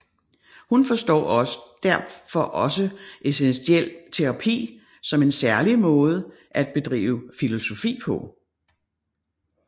Hun forstår derfor også eksistentiel terapi som en særlig måde at bedrive filosofi på